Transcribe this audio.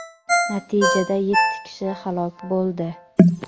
natijada yetti kishi halok bo‘ldi.